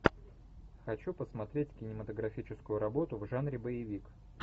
хочу посмотреть кинематографическую работу в жанре боевик